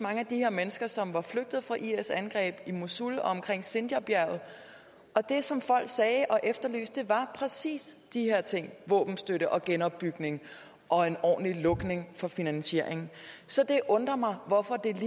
mennesker som var flygtet fra is angreb i mosul og omkring sinjarbjerget og det som folk efterlyste var præcis de her ting våbenstøtte og genopbygning og en ordentlig lukning for finansieringen så det undrer mig